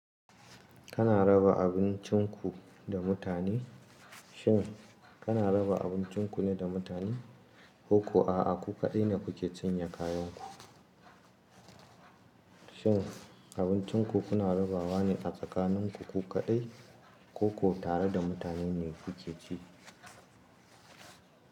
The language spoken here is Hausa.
Kana raba abincinku da mutane? Shin kana raba abincinku neda mutane? Koko a'a ku kaɗai ne kuke cinye kayanku? Shin abincinku kuna rabawane a tsakaninku ku kaɗai, koko tareda mutane ne kuke ci?